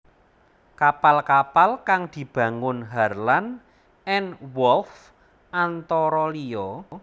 Kapal kapal kang dibangun Harland and Wolff antara liya